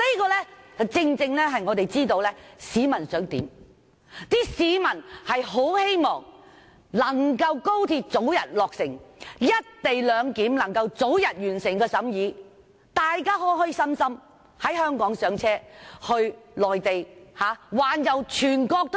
這正正顯示我們知道市民想要甚麼：市民很希望高鐵能早日落成，《條例草案》能早日完成審議，大家能開開心心在香港上車往內地環遊全國。